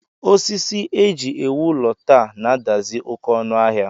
Osisi e ji ewu ụlọ taa na-adazi oké ọnụ ahịa